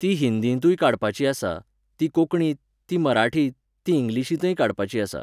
ती हिंदींतूय काडपाची आसा, ती कोंकणींत, ती मराठींत, ती इंग्लिशींतय काडपाची आसा.